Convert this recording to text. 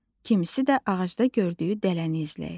kim isə də ağacda gördüyü dələni izləyir.